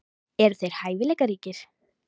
Eru þeir hæfileikaríkir?